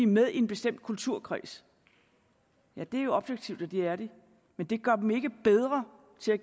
med i en bestemt kulturkreds ja det er objektivt at de er det men det gør dem ikke bedre til at